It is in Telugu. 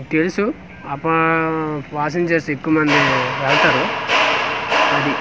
తెలుసు ఆ ప వాషింగ్ చేసే ఎక్కువ మంది వాడతారు అది--